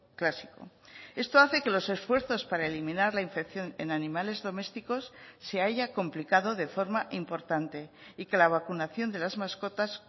clásico esto hace que los esfuerzos para eliminar la infección en animales domésticos se haya complicado de forma importante y que la vacunación de las mascotas